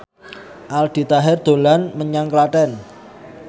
Aldi Taher dolan menyang Klaten